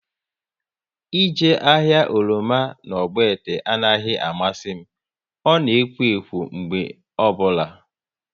Ị jee ahịa oroma na Ogbete anaghị amasị m, ọ na ekwo ekwo mgbe ọbụla